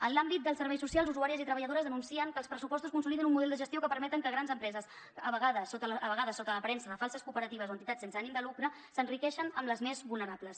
en l’àmbit dels serveis socials usuàries i treballadores denuncien que els pressupostos consoliden un model de gestió que permet que grans empreses a vegades sota l’aparença de falses cooperatives o entitats sense ànim de lucre s’enriqueixin amb les més vulnerables